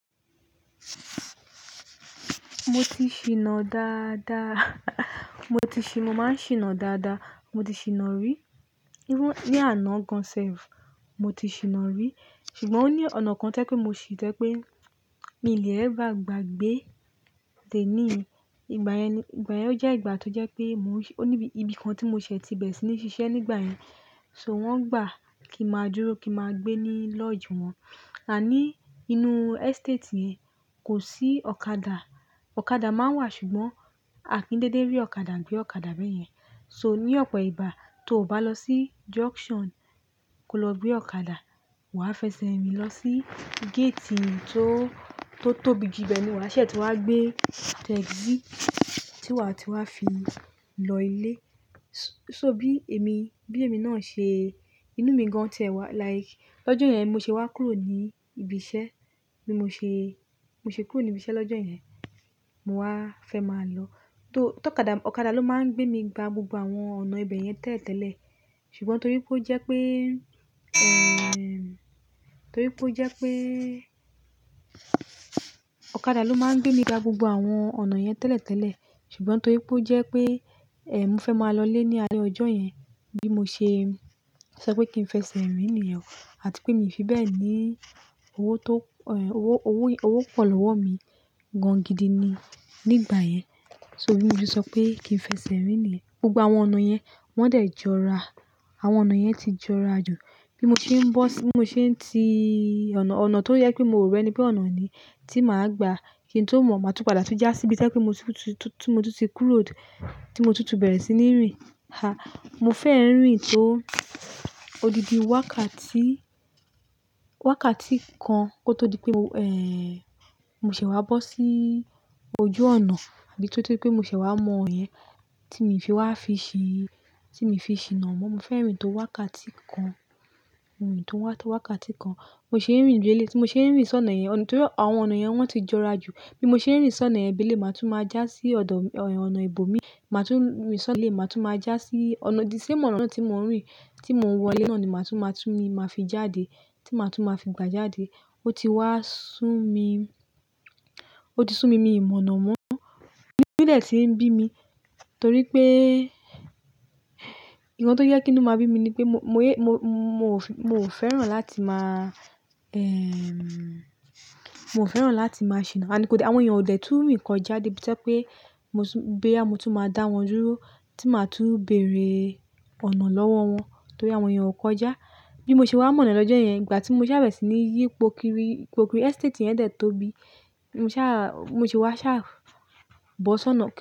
Mo ti ṣìnà dáadáa. Mo ti ṣì, mo máa ń ṣìnà dáadáa. Mo ti ṣìnà rí. Irú, ní àná gan-an sef, mo ti ṣìnà rí. Ṣùgbọ́n ó ní ọ̀nà kan to jẹ́ pé mo ṣì to jẹ́ pé mí ò lè éver gbàgbé dẹ́nií. Ìgbà yẹn ni, ìgbà yẹn ó jẹ́ ìgbà tó jẹ́ pé mò ń ṣ-- òní bí, ibi kan tí mo ṣẹ̀ ti bẹ̀re sí ní ṣiṣẹ́ nígbà yẹn. So wọ́n gbà kí máa dúró, kí máa gbé ní lodge wọn. Àní inú estate yẹn kò sí ọ̀kadà. Ọ̀kadà máa ń wà ṣùgbọ́n à kí ń dédé rí ọ̀kadà gbé ọ̀kadà bẹ́yẹn. So ní ọ̀pọ̀ ìgbà tó ò bá lọ sí junction kó lọ gbé ọ̀kadà, wàá fẹsẹ̀ rìn lọ sí gate yín tó, tó tóbi jù ibẹ̀ ni wàá ṣẹ́ tí wà á gbé taxi tí wàá ti wá fi lọ ilé. So bí èmi, bí èmi náà ṣe, inú mi gan ti ẹ wá, like lọ́jọ́ yẹn mo ṣe wá kúrò ní ibiṣẹ́. Bí mo ṣe, mo ṣe kúrò ní ibiṣẹ́ lọ́jọ́ yẹn, mo wá fẹ́ máa lọ. Tó, tó ọ̀kadà, ọ̀kadà ló máa ń gbé mi gba gbogbo àwọn ọ̀nà ibẹ̀ yẹn tẹ́lẹ̀tẹ́lẹ̀. Ṣùgbọ́n torí pé ó jẹ́ pé, ẹm, torí pé ó jẹ́ pé ọ̀kadà ló máa ń gbé mi gba gbogbo àwọn ọ̀nà yẹn tẹ́lẹ̀tẹ́lẹ̀. Ṣùgbọ́n torí pé ó jẹ́ pé, ẹm, mo fẹ́ máa lọ lé ní alẹ́ ọjọ́ yẹn bí mo ṣe, sọ pé kí n fẹsẹ̀ rìn nìyẹn. Àti pé mi ò fi bẹ́ẹ̀ ní owó tó, ẹm, owó, owó, owó pọ̀ lọ́wọ́ mi gan gidi ni nígbà yẹn. So bí mo ti sọ pé kí n fẹsẹ̀ rìn nìyẹn. Gbogbo àwọn ọ̀nà yẹn wọ́n de jọra. Àwọn ọ̀nà yẹn ti jọra jù. Bí mo ṣe ń bọ́ sí, bí mo ṣe ń ti ọ̀nà, ọ̀nà tó yẹ pé mo rọ̀ ẹni pé ọ̀nà ni tí màá gbà kí n tó mọ̀ máa tún padà tún jà síbí tẹ́ pé mo tún tún tún tún tí kúrò tó tí mo tún tún bẹ̀rẹ̀ sí ní rìn. Ha! Mo fẹ́ rìn tó odidi wákàtí, wákàtí kan kó tó di pé o, ẹm, mo ṣè wá bọ́ sí ojú ọ̀nà títí pé mo ṣè wá mọ̀ yẹn tí mo fi wá fi ṣí, tí mo fi ṣìnà mọ́. Mo fẹ́ rìn tó wákàtí kan, rìn tó wákàtí kan. Mo ṣe ń rìn lèléyi tí mo ṣe ń rìn sọ́nà yẹn. Nítorí pé àwọn ọ̀nà yẹn wọ́n ti jọra jù. Bí mo ṣe ń rìn sọ́nà yẹn bí eléyi, màá tún máa jà sí ọ̀dọ̀, ẹm, ọ̀nà ibo mi. Màá tún rìn sọ́nà eléyi, màá tún máa jà sí ọ̀nà, the same ọ̀nà náà tí mò ń rìn tí mò ń wọ ilé náà ni màá tún máa tún ni màá fi jáde, tí màá tún máa fi gba jáde. Ó ti wá sún mi, ó ti sún mi mí mọ̀nà mọ́. Ní, inu dẹ̀ tí ń bí mi torí pé nǹkan tó yẹ kí inú máa bí mi ni pé mo, mo yé, mo, mo ò fi, mo ò fẹ́ràn láti máa, ẹm, mo ò fẹ́ràn láti máa ṣìnà. Àní kò lè, àwọn èèyàn ò dè tún rìn kọjá dé bi to jẹ́ pé mo tún boyà, mo tún máa dá wọn dúró tí màá tún bèrè ọ̀nà lọ́wọ́ wọn torí àwọn èèyàn ò kọjá. Bí mo ṣe wá mọ̀ náà lọ́jọ́ yẹn, ìgbà tí mo sá bẹ̀rẹ̀ sí ní yí ipo kiri, yipo kiri estate yẹn de tóbi. Mo sá, bi mo se wá sá bọ́ sọ́nà.